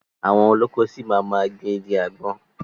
Àwọn olóko ṣi máa ma gbìn igi àgbọn.